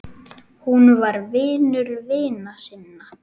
Hún var vinur vina sinna.